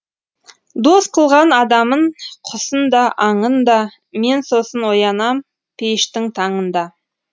дос қылған адамын құсын да аңын да мен сосын оянам пейіштің таңында